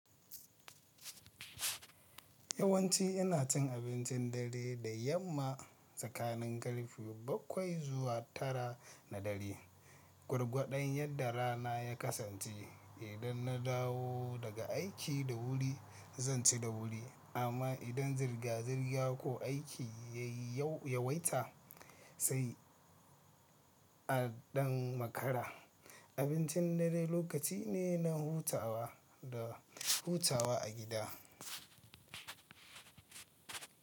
Yawanci ina cin abincin dare da yamma tsakanin karfe bakwai zuwa tara na dare. Gwargwadon yadda rana ya kasance, idan na dawo daga aiki da wuri zan ci da wuri, amma idan zirga-zirga ko aiki ya yawaita sai a ɗan makara. Abincin dare lokaci ne na hutawa da hutawa a gida.